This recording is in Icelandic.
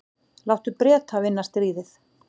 Láttu Breta vinna stríðið.